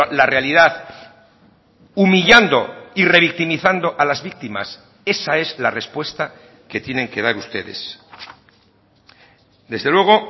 la realidad humillando y revictimizando a las víctimas esa es la respuesta que tienen que dar ustedes desde luego